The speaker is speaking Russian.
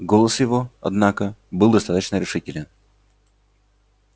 голос его однако был достаточно решителен